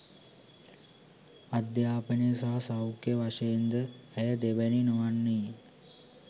අධ්‍යාපන සහ සෞඛ්‍ය වශයෙන් ද ඇය දෙවැනි නොවන්නීය